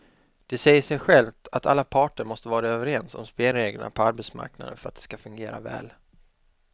Det säger sig självt att alla parter måste vara överens om spelreglerna på arbetsmarknaden för att de ska fungera väl.